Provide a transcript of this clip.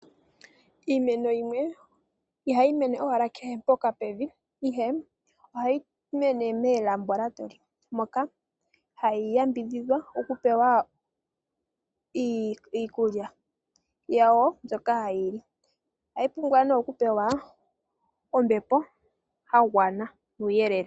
Iimeno yimwe ihayi mene owala kehe mpoka pena evi ihe, ohayi mene melambolatoli moka hayi yambidhidhwa oku pewa iikulya yawo mbyoka hayi li ohayi pumbwane oku pewa ombepo yagwana nuuyelele.